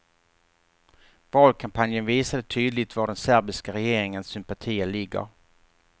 Valkampanjen visade tydligt var den serbiska regeringens sympatier ligger.